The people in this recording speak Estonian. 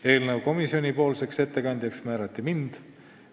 Eelnõu ettekandjaks määrati mind.